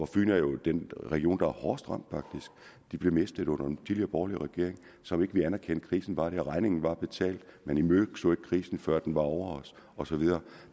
fyn er jo den region der faktisk er hårdest ramt blev mistet under den tidligere borgerlige regering som ikke ville anerkende at krisen var der regningen var at betale man imødeså ikke krisen før den var over os og så videre